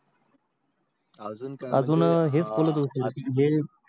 अजून हेच केला